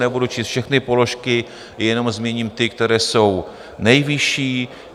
Nebudu číst všechny položky, jenom zmíním ty, které jsou nejvyšší.